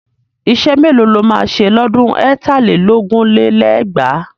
Iṣẹ́ mélòó lo máa ṣe lọ́dún ẹ̀tà lé lógún lé lẹ́gbàá?